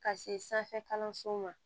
Ka se sanfɛ kalansow ma